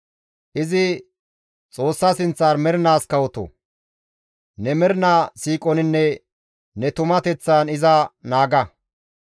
Izi Xoossa sinththan mernaas kawoto; ne mernaa siiqoninne ne tumateththan iza naaga.